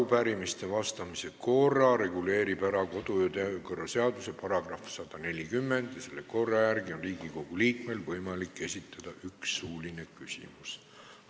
Arupärimistele vastamise korda reguleerib kodu- ja töökorra seaduse § 140 ja selle järgi on Riigikogu liikmel võimalik esitada üks suuline küsimus.